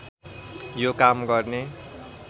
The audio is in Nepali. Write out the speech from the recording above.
यो काम गर्ने